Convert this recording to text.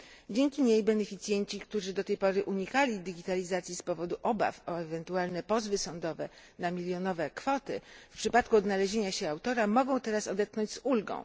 Dzięki niej beneficjenci, którzy do tej pory unikali digitalizacji z powodu obaw o ewentualne pozwy sądowe na milionowe kwoty, w przypadku odnalezienia się autora, mogą teraz odetchnąć z ulgą.